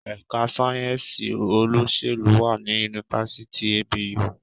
Èka sayensi Olóṣèlú wá ní Yunifásitì ABU.